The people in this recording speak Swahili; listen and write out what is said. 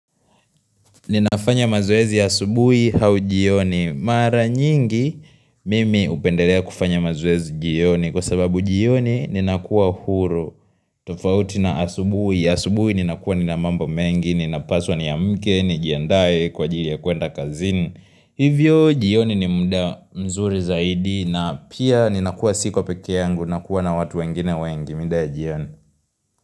Ninafanya mazoezi asubuhi au jioni. Mara nyingi mimi hupendelea kufanya mazoezi jioni kwa sababu jioni ninakua huru. Tofauti na asubuhi. Asubuhi ninakua nina mambo mengi ninapaswa niamke nijiandae kwa ajili ya kuenda kazini. Hivyo jioni ni muda mzuri zaidi na pia ninakuwa siko peke yangu. Nakuwa na watu wengine wengi. Mida ya jioni.